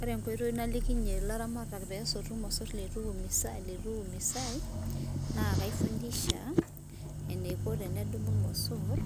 Ore enkoitoi nalikinye laramatak peesotu irmosor leitu eimiisai naa kaifundisha eneiko tenedumu irmosor